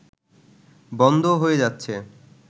বন্ধ হয়ে যাচ্ছে